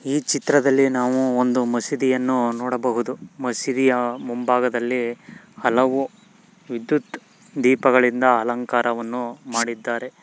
ಈ ಚಿತ್ರದಲ್ಲಿ ನಾವು ಒಂದು ಮಸೀದಿ ಅನ್ನು ನೋಡಬಹುದು ಮಸೀದಿಯ ಮುಂಭಾಗದಲ್ಲಿ ಹಲವು ವಿದ್ಯುತ್ ದೀಪಗಳಿಂದ ಅಲಂಕಾರವನ್ನು ಮಾಡಿದ್ದಾರೆ.